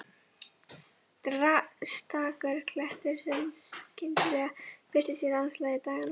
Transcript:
Stakur klettur sem skyndilega birtist í landslagi daganna.